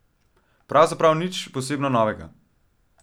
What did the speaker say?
Pravzaprav nič posebno novega.